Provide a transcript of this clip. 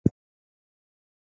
Reiðin sýður í honum.